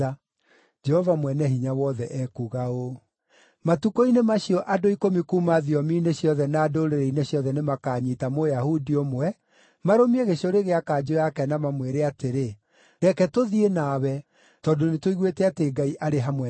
Jehova Mwene-Hinya-Wothe ekuuga ũũ: “Matukũ-inĩ macio andũ ikũmi kuuma thiomi-inĩ ciothe na ndũrĩrĩ-inĩ ciothe nĩmakanyiita Mũyahudi ũmwe, marũmie gĩcũrĩ gĩa kanjũ yake na mamwĩre atĩrĩ, ‘Reke tũthiĩ nawe, tondũ nĩtũiguĩte atĩ Ngai arĩ hamwe na inyuĩ.’ ”